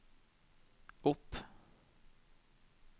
opp